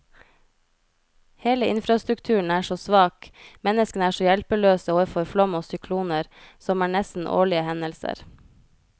Hele infrastrukturen er så svak, menneskene er så hjelpeløse overfor flom og sykloner, som er nesten årlige hendelser.